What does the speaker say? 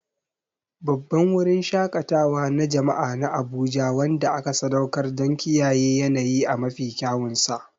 Babban wurin shaƙatawa na jama'a na Abuja wanda aka sadaukar don kiyaye yanayi a mafi kyawunsa.